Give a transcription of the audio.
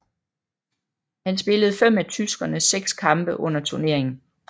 Han spillede fem af tyskernes seks kampe under turneringen